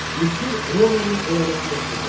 Misir Romanın əyalətinə çevrildi.